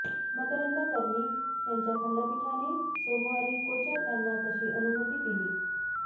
मकरंद कर्णिक यांच्या खंडपीठाने सोमवारी कोचर यांना तशी अनुमती दिली